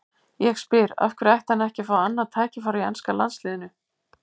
Ég spyr: Af hverju ætti hann ekki að fá annað tækifæri hjá enska landsliðinu?